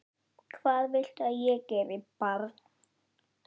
Hvað viltu að ég geri, barn?